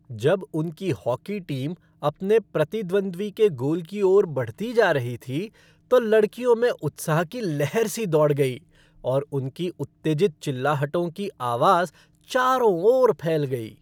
जब उनकी hockey team अपने प्रतिद्वंद्वी के गोल की ओर बढ़ती जा रही थी तो लड़कियों में उत्साह की लहर सी दौड़ गई और उनकी उत्तेजित चिल्लाहटों की आवाज़ चारों ओर फैल गई।